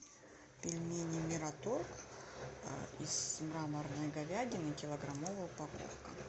пельмени мираторг из мраморной говядины килограммовая упаковка